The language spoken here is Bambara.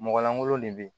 Mɔgɔ langolo de bɛ ye